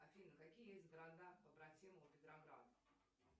афина какие есть города побратимы у петрограда